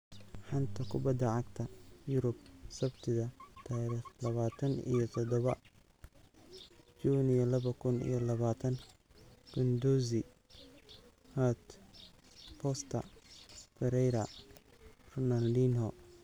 Xanta Kubadda Cagta Yurub Sabtida dariqh labataan iyo todoba juunyo laba kun iyo labataan: Guendouzi, Hart, Forster, Pereira, Ronaldinho